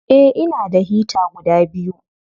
Eh, ina da hita guda biyu.